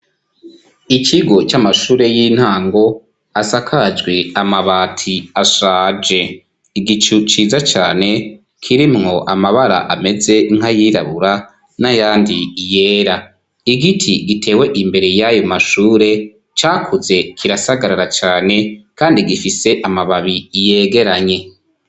Ikigo c'amashure y'intango asakajwe amabati ashaje. Igicu ciza cane kirimwo amabara ameze nkayirabura n'ayandi yera. Igiti gitewe imbere y'ayo mashure cakuze kirasagarara cyane kandi gifise amababi yegeranye.